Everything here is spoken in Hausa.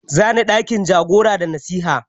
Za ni ɗakin jagora da nasiha.